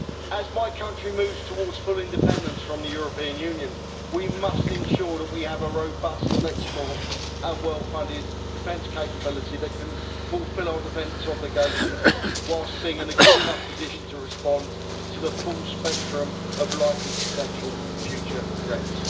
As my country moves towards full independence from the European Union, we must ensure that we have a robust, flexible and well funded defence capability that can fulfil our defence obligations, whilst being in a good enough position to respond to the full spectrum of likely potential future threats.